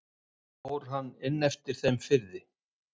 Fór hann inn eftir þeim firði.